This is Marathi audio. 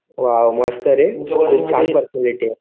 वा वा. मस्त रे. खूप छान पर्सनॅलिटी आहे.